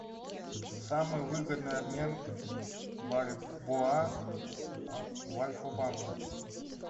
самый выгодный обмен бальбоа в альфа банке